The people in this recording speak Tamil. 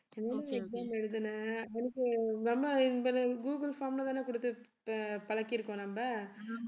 என்ன exam எழுதின அவனுக்கு நம்ம இவன google form லதான குடுத்து ப~ பழக்கியிருக்கோம் நம்ம